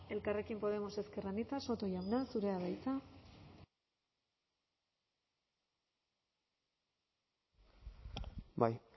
elkarrekin podemos ezker anitza soto jauna zurea da hitza bai